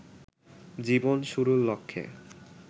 জীবন শুরুর লক্ষ্যে